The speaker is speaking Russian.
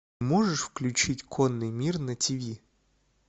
можешь включить конный мир на тиви